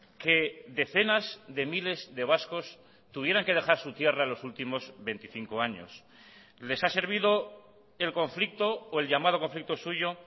que decenas de miles de vascos tuvieran que dejar su tierra los últimos veinticinco años les ha servido el conflicto o el llamado conflicto suyo